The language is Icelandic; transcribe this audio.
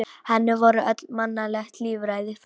Henni voru öll mannleg líffæri framandi.